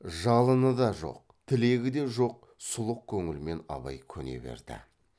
жалыны да жоқ тілегі де жоқ сұлық көңілмен абай көне берді